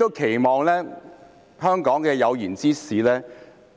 我期望香港的有賢之士，